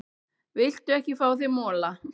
Viltu ekki fá þér mola?